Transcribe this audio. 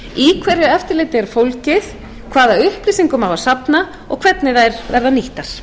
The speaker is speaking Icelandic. hverju eftirlitið er fólgið hvaða upplýsingum á að safna og hvernig þær verða nýttar